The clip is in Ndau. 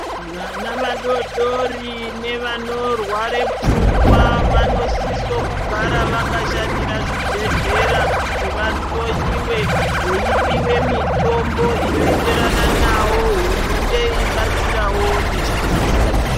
Vana vadodori nevanorwara pfungwa vanofanira kugara vakashanyira zvibhedhlera kuti vahloiwe veipiwa mitombo inoenderana navo hurumende yeibetserawo nechikafu.